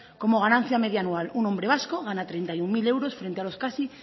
como ganancia media anual un hombre vasco gana treinta y uno mil euros frente a los casi